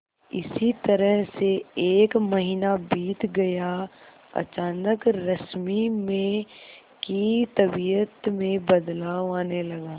इसी तरह से एक महीना बीत गया अचानक रश्मि में की तबीयत में बदलाव आने लगा